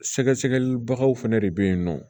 Sɛgɛsɛgɛlibagaw fɛnɛ de be yen nɔ